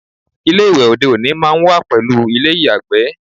Ilé ìwẹ̀ òde òní máá ń wà pẹ̀lú ilé ìyàgbẹ̀